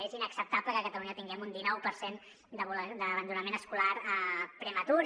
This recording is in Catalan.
és inacceptable que a catalunya tinguem un dinou per cent d’abandonament escolar prematur